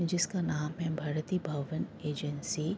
जिसका नाम है भारतीय भवन एजेंसी।